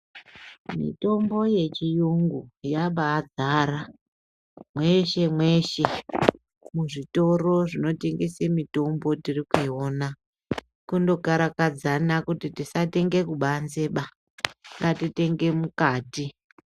Mitombo yechiyungu yabaadzara mweshe mweshe muzvitoro zvinotengese mitombo tiri kuiona kundokarakadzana kuti tisatenge kubanzeba ngatitenge mukati.